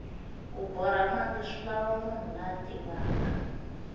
ku borha mati swilava munhu la tivaka